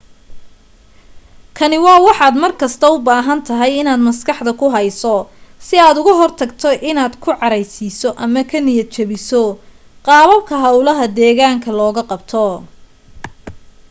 kani waa wax aad mar kasta u baahan tahay inaad maskaxda ku hayso si aad uga hortagto inaad ka caraysiiso ama niyad jabiso qaababka hawlaha deegaanka looga qabto